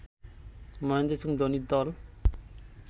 মহেন্দ্র সিং ধোনির দল